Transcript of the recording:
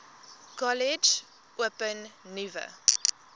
kollege open nuwe